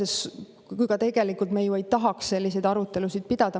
Ega me tegelikult ju ei tahaks selliseid arutelusid pidada.